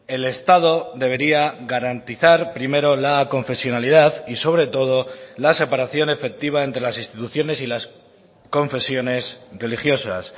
el estado debería garantizar primero la aconfesionalidad y sobre todo la separación efectiva entre las instituciones y las confesiones religiosas